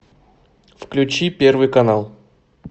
включи первый канал